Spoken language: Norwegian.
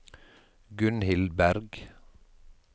Gunhild Bergh